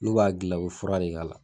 N'u b'a gilan u bi fura de k'a la.